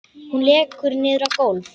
Hún lekur niður á gólfið.